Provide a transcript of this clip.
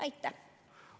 Aitäh!